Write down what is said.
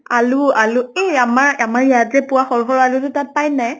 আলু আলু এহ আমাৰ ইয়াত যে পোৱা সৰু সৰু আলু টো তাত পায় নে নাই?